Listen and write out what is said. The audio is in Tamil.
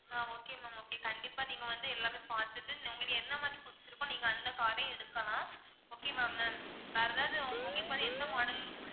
ஆஹ் okay ma'am okay கண்டிப்பா நீங்க வந்து எல்லாமே பாத்துட்டு உங்களுக்கு எந்த மாதிரி பிடிச்சிருக்கோ நீங்க அந்த car ரே எடுக்கலாம் okay வா ma'am வேற ஏதாவது உங்களுக்கு வந்து எந்த model பிடிச்சிருக்கோ